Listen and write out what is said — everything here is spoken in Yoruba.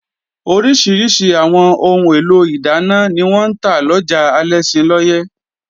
Oríṣiríṣi àwọn ohun èlò ìdáná ni wọ́n ń ta lọjà Alẹ́ṣinlọ́yẹ́